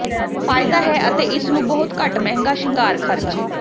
ਫ਼ਾਇਦਾ ਹੈ ਅਤੇ ਇਸ ਨੂੰ ਬਹੁਤ ਘੱਟ ਮਹਿੰਗਾ ਸ਼ਿੰਗਾਰ ਖ਼ਰਚ